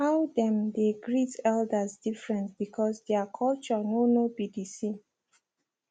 how them dey greet elders different because their culture no no be the same